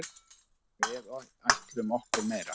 Við ætlum okkur meira.